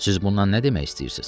Siz bundan nə demək istəyirsiz?